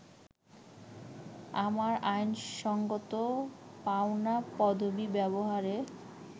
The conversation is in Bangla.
আমার আইনসঙ্গত পাওনা পদবি ব্যবহারে